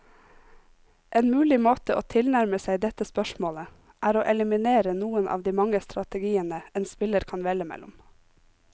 En mulig måte å tilnærme seg dette spørsmålet, er å eliminere noen av de mange strategiene en spiller kan velge mellom.